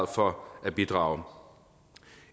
for at bidrage